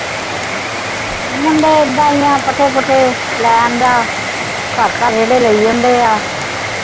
ਮੁੰਡੇ ਐਦਾਂ ਹੀ ਆ, ਪੱਠੇ ਪੁੱਠੇ ਲੈ ਆਂਦਾ ਜਿਹੜੇ ਲਈ ਜਾਂਦੇ ਆ ।